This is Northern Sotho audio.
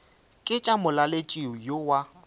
ke tša molaletši yo wa